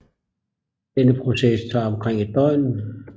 Denne proces tager omkring et døgn